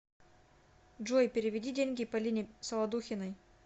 джой переведи деньги полине солодухиной